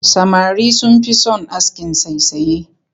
Samari sun fi son askin saisaye